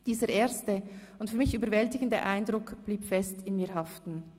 Dieser erste und für mich überwältigende Eindruck blieb fest in mir haften.